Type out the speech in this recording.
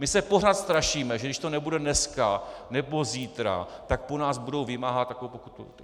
My se pořád strašíme, že když to nebude dneska nebo zítra, tak po nás budou vymáhat takovou pokutu.